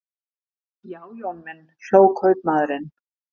Já, Jón minn, hló kaupmaðurinn.